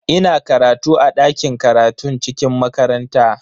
Ina karatu a dakin karatun cikin makaranta.